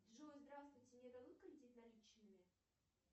джой здравствуйте мне дадут кредит наличными